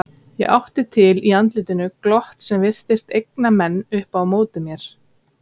Ég átti til í andlitinu glott sem virtist egna menn upp á móti mér.